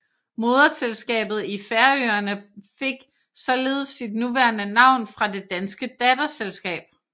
Moderselskabet i Færøerne fik således sit nuværende navn fra det danske datterselskab